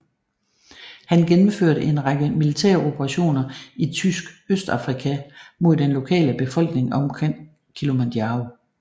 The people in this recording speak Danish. Han gennemførte en række militæroperationer i Tysk Østafrika mod den lokale befolkning omkring Kilimanjaro